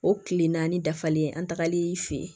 O tile naani dafalen an tagal'i fɛ yen